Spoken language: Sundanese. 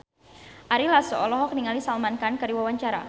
Ari Lasso olohok ningali Salman Khan keur diwawancara